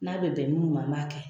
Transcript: N'a be bɛn munnu ma , an b'a kɛ.